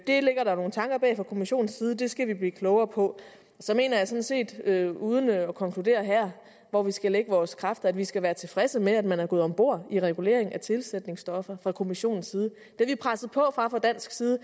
det ligger der nogle tanker bag fra kommissionens side det skal vi blive klogere på så mener jeg sådan set uden at konkludere her hvor vi skal lægge vores kræfter at vi skal være tilfredse med at man er gået om bord i reguleringen af tilsætningsstoffer fra kommissionens side det vi presser på for fra dansk side